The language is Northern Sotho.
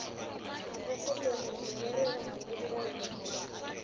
mafasetereng merwalo banamedi ba bantši